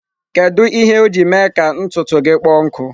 Kedu ihe o ji mee ka ntutu gị kpọọ nkụ?